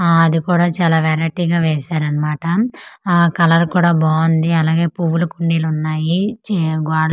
ఆ అది కూడా చాలా వెరైటీ గా వేశారన్మాట ఆ కలర్ కూడా బాగుంది అలాగే పూవులు కుండీలున్నాయి చే గోడ--